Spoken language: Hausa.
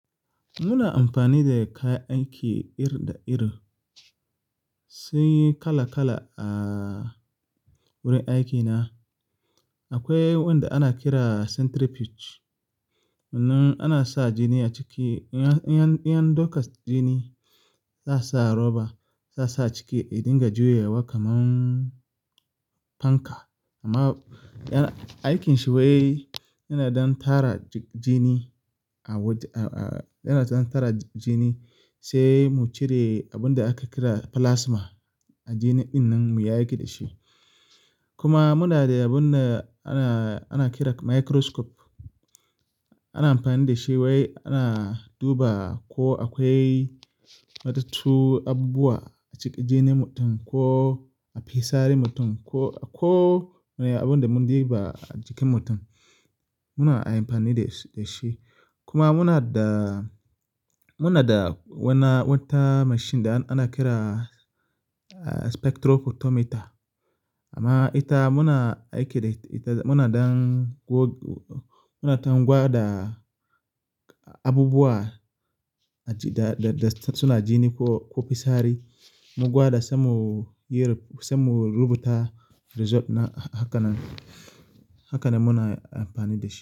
Muna amfani da kayan aiki iri da iri. Sunyi kala-kala a wurin aikina. Akwai wanda ana kira centrifuge, wannan ana sa jini a ciki. In an dauka jini za a sa roba, za a sa a ciki ya dinga juyewa kaman fanka. Amma aikin shi wai yana don tara jini a waje, yana dɗn tara jini sai mu cire abunda aka kira plasma. Jini ɗin nan mu yi aiki da shi. Kuma muna da abunda ana, ana kira microscope. Ana amfani da shi wai ana duba ko akwai matattu, abubuwa a cikin jinin mutum ko a fisarin mutum ko, ko abunda mun diba a jikin mutum. Muna amfani da shi, da shi. Kuma muna da, muna da wata mashin da ana kira spectrophotometer. Amma ita muna aiki da ita, muna ɗn, muna ɗan gwada abubuwa da suna jini ko, ko fisari. Mu gwada sai mu yi, sai mu rubuta result haka nan. Haka ne muna amfani da shi.